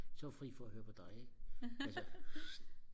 så er vi fri for og høre på dig ikke altså